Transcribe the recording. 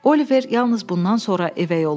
Oliver yalnız bundan sonra evə yollandı.